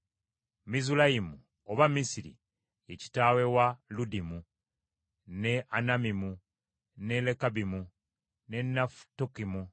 Mizulayimu oba Misiri ye kitaawe wa Ludimu, ne Anamimu, ne Lekabimu, ne Nafutukimu,